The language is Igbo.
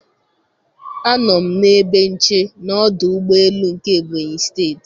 Anọ m na ebe nche na ọdụ ụgbọ elu nke Ebonyi steeti